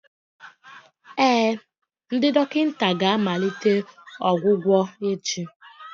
Ee, ndị dọkịta ga-amalite ọgwụgwọ echi